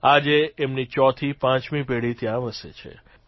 આજે એમની ચોથીપાંચમી પેઢી ત્યાં વસે છે